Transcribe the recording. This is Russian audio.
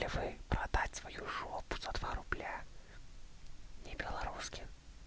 и вы продать свою жопу за два рубля не белорусских